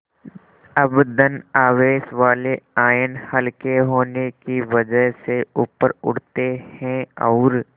अब धन आवेश वाले आयन हल्के होने की वजह से ऊपर उठते हैं और